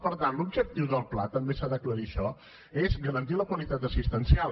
per tant l’objectiu del pla també s’ha d’aclarir això és garantir la qualitat assistencial